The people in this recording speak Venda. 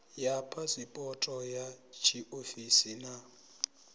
ya phasipoto ya tshiofisi na